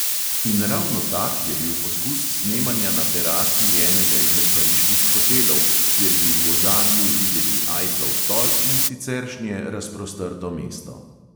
In ravno tak je bil poskus snemanja na terasi enega izmed pariških hotelov, kjer bi v ozadju videli ajflov stolp in siceršnje razprostrto mesto.